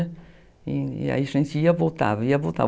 E aí a gente ia e voltava, ia e voltava.